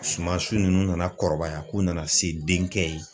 Sumasi ninnu nana kɔrɔbaya k'u nana se denkɛ ye.